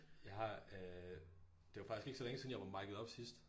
Jeg har øh det var faktisk ikke så længe siden jeg var miced up sidst